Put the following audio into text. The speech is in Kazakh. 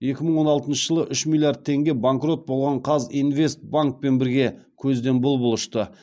екі мың он алтыншы жылы үш миллиард теңге банкрот болған қазинвестбанкпен бірге көзден бұл бұл ұшты